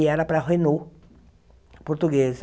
E era para a Renault, portuguesa.